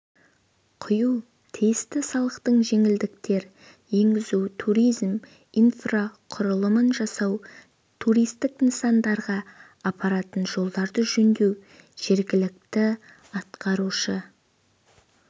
құю тиісті салықтық жеңілдіктер енгізу туризм инфрақұрылымын жасау туристік нысандарға апаратын жолдарды жөндеу жергілікті атқарушы